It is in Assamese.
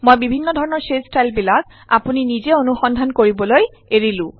মই বিভিন্ন ধৰণৰ শ্বেড ষ্টাইল বিলাক আপুনি নিজে অনুসন্ধান কৰিবলৈ এৰিলো